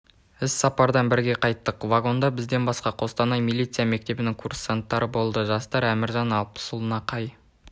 іс-сапардан бірге қайттық вагонда бізден басқа қостанай милиция мектебінің курсанттары болды жастар әміржан алпысұлына қай